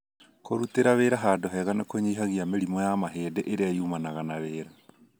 Kũrũtĩra wĩra handũ hega nĩ kũnyihagia mĩrimũ ya mahindĩ ĩria yumanaga na wĩra.